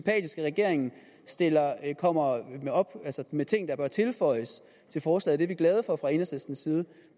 regeringen kommer med ting der bør tilføjes forslaget er vi glade for fra enhedslistens side